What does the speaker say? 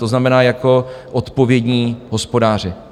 To znamená, jako odpovědní hospodáři.